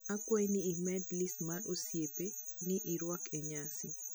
ikwai ni imed lis mar osiepe ni rwako e nyasi